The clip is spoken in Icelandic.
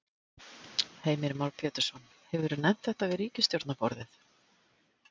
Heimir Már Pétursson: Hefurðu nefnt þetta við ríkisstjórnarborðið?